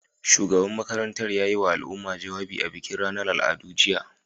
Shugaban makarantar ya yiwa al'umma jawabi a bikin ranar al'adu, jiya.